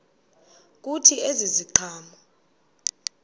kuthi ezi ziqhamo